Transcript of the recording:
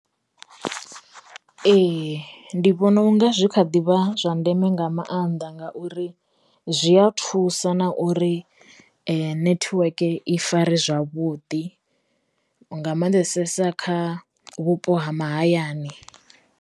Ee ndi vhona unga zwi kha ḓivha zwa ndeme nga maanḓa ngauri zwi a thusa na uri nethiweke i fare zwavhuḓi nga mannḓesesa kha vhupo ha mahayani.